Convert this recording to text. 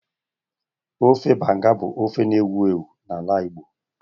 Ofe Banga bụ ofe na-ewu ewu n'ala Igbo